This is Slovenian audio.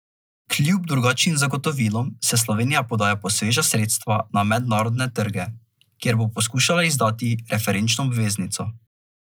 Kljub drugačnim zagotovilom se Slovenija podaja po sveža sredstva na mednarodne trge, kjer bo poskušala izdati referenčno obveznico.